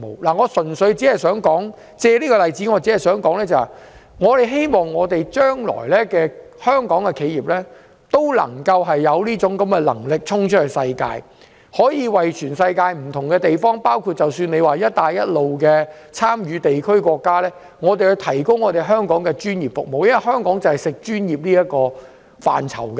我只是想借此例子指出，希望香港的企業日後有能力衝出世界，為全世界不同地方，包括"一帶一路"的地區和國家，提供專業服務，因為香港以專業服務見稱。